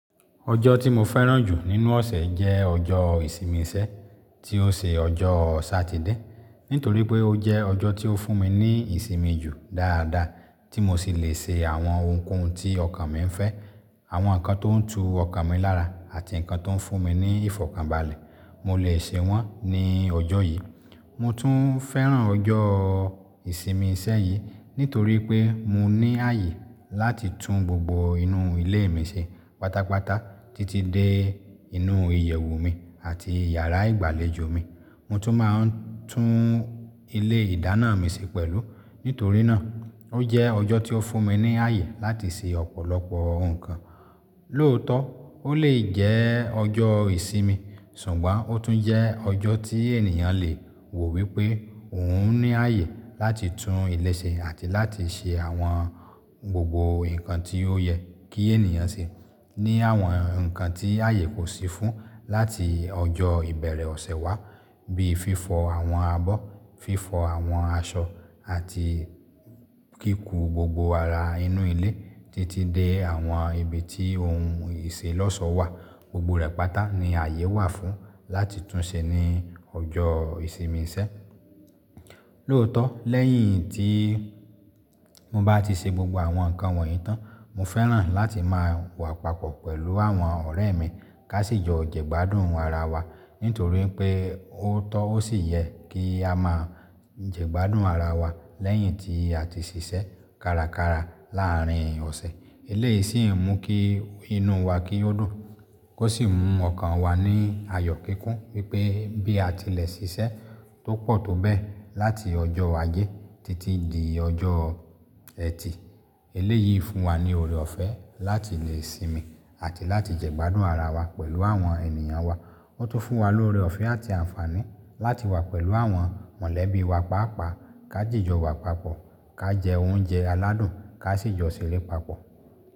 Ọjọ́ tí mo fẹ́ràn jù nínú ọ̀sẹ̀ jẹ́ ọjọ́ ìsinmi iṣẹ́ tí ó ṣe ọjọ́ Satide. Nítorí pé ó jẹ́ ọjọ́ tó fún mi ní ìsinmi jù dáadáa tí mo sì le ṣe àwọn ohunkóhun tí ọkàn mi ń fẹ́. Àwọn nǹkan tó ń tu ọkàn mi lára àti nǹkan tó ń fún mi ní ìfọ̀kànbalẹ̀, mo lè ṣe wọ́n ní ọjọ́ yìí. Mo tún fẹ́ràn ọjọ́ ìsinmi iṣẹ́ yìí nítorí pé mo ní ààyè láti tún gbogbo inú ilé mi ṣe pátápátá títí dé inú ìyẹ̀wù mi àti yàrá ìgbàlejò mi. Mo tún máa ń tún ilé ìdáná mi ṣe pẹ̀lú. Nítorí náà ó jẹ́ ọjọ́ tó fún mi ní ààyè láti ṣe ọ̀pọ̀lọpọ̀ nǹkan. Lóòótọ́, ó lè jẹ́ ọjọ́ ìsinmi, ṣùgbọ́n ó tún jẹ́ ọjọ́ tí ènìyàn le wò wípé òun ní ààyè láti tún ilé ṣe àti láti ṣe àwọn gbogbo nǹkan tí ó yẹ kí ènìyàn ṣe ní àwọn nǹkan tí ààyè kò sí fún láti ọjọ́ ìbẹ̀rẹ̀ ọ̀sẹ̀ wá bí i fífọ àwọn abọ́, fífọ àwọn aṣọ àti kíku gbogbo ara inú ilé títí dé àwọn ibi tí ohun ìṣelọ́sọ wà. Gbogbo rẹ̀ pátá ni ààyè wà fún láti tún ṣe ní ọjọ́ ìsinmi iṣẹ́. Lóòótọ́, lẹ́yìn tí mo bá ti ṣe gbogbo àwọn nǹkan wọ̀nyí tán, mo fẹ́ràn láti máa wà papọ̀ pẹ̀lú àwọn ọ̀rẹ́ mi ká sì jọ jẹgbádùn ara wa. Nítorí pé ó tọ́ ó sì yẹ kí a máa jẹgbádùn ara wa lẹ́yìn tí à ti ṣiṣẹ́ kárakára láàárín ọ̀sẹ̀. Ilé yìí sì ń mú kí inú wa kí ó dùn, kó sì mú ọkàn wa ní ayọ̀ kíkún wípé bí a tilẹ̀ ṣiṣẹ́ tó pọ̀ tó bẹ́ẹ̀ láti ọjọ́ Ajé títí di ọjọ́ Ẹtì, ilé yìí fún wa ní ọrẹ ọ̀fẹ́ láti lè sinmi àti láti jẹ́gbádùn ara wa pẹ̀lú àwọn ènìyàn wa. Ó tún fún wa lórí ọ̀fẹ́ àti àǹfààní láti wà pẹ̀lú àwọn mọ̀lẹ́bí wa pàápàá ká jìjọ wa papọ̀, ká jẹ oúnjẹ aládùn ká sì jọ ṣeré papọ̀.